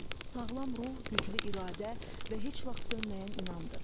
Sağlam ruh, güclü iradə və heç vaxt sönməyən inamdır.